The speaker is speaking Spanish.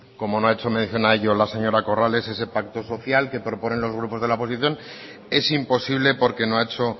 como no ha hecho mención a ello la señora corrales ese pacto social que proponen los grupos de la oposición es imposible porque no ha hecho